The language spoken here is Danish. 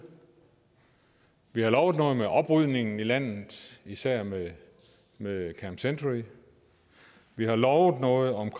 vi har lovet noget med oprydningen i landet især med med camp century vi har lovet noget om